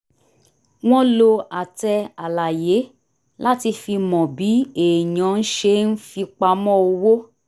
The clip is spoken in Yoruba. wọ́n lo àtẹ àlàyé láti fi mọ bí èèyàn ṣe ń fipamọ́ owó